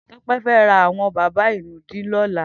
Tope fè rà awọn bàbá inùdí tùtùn lọlà